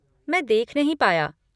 मैं देख नहीं पाया।